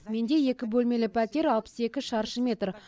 менде екі бөлмелі пәтер алпыс екі шаршы метр